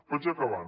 vaig acabant